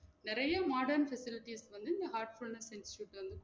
நிறைய modern facilities வந்து இந்த heartfulness institute வந்து